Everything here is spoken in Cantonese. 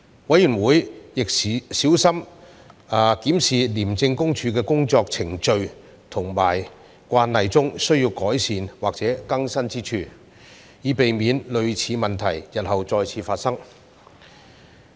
委員會亦小心檢視廉政公署的工作程序和慣例中需要改善或更新之處，以避免類似問題日後再次發生。